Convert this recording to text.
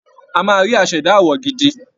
A máa rí aṣẹ̀dá àwọ̀ gidi